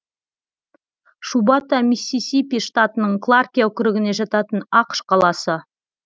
шубата миссисипи штатының кларке округіне жататын ақш қаласы